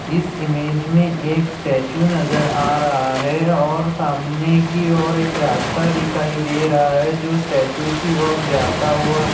इस इमेज मे एक स्टॅचु नजर हा रहा है और सामने की और एक रास्ता दिखाई दे रहा है जो स्टॅचु की ओर जाता हुआ--